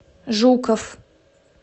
жуков